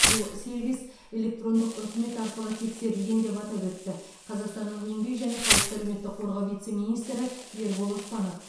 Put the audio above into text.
бұл сервис электрондық үкімет арқылы тексерілген деп атап өтті қазақстанның еңбек және халықты әлеуметтік қорғау вице министрі ербол оспанов